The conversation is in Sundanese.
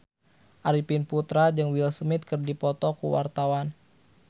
Arifin Putra jeung Will Smith keur dipoto ku wartawan